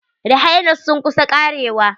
Rhino's sun kus karewa.